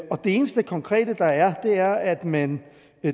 eneste konkrete der er er at man